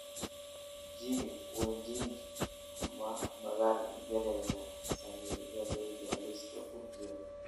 Jimmy wanjigi ma maalgeliyaa saamiyadayda liiska ku jira